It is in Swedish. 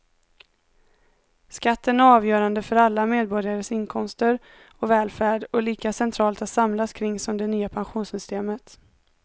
Skatten är avgörande för alla medborgares inkomster och välfärd och lika centralt att samlas kring som det nya pensionssystemet.